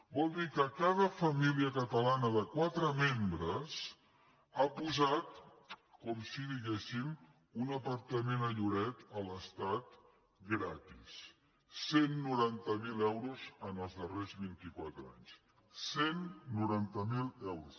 vol dir que cada família catalana de quatre membres ha posat com si diguéssim un apartament a lloret a l’estat gratis cent i noranta miler euros en els darrers vint i quatre anys cent i noranta miler euros